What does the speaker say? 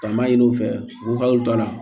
Taama ɲini u fɛ u ka dɔnna